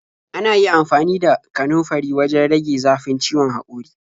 Ana iya amfani da kanunfari wajen rage zafin ciwon haƙori.